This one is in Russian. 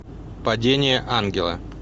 падение ангела